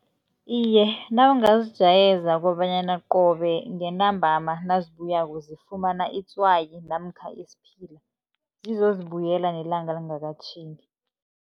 Iye, nawungazijayeza kobanyana qobe ngentambama nazibuyako zifumana itswayi namkha isiphila, zizozibuyela nelanga lingakatjhingi.